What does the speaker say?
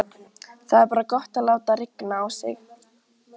Það er bara gott að láta rigna á sig.